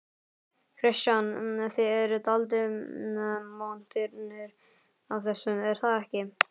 Kristján: Þið eruð dálítið montnir af þessu er það ekki?